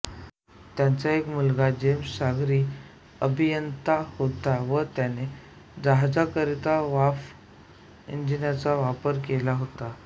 त्यांचा एक मुलगा जेम्स सागरी अभियंता होता व त्याने जहाजाकरिता वाफ एंजिनाचा वापर केला होता